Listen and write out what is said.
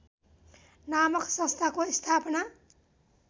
नामक संस्थाको स्थापना